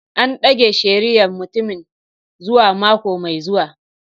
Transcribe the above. An dage shari'ar mutumin zuwa mako mai zuwa.